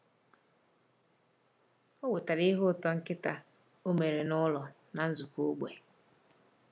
Ọ wetara ihe ụtọ nkịta o mere n’ụlọ na nzukọ ógbè.